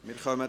Geschäft